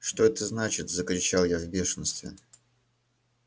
что это значит закричал я в бешенстве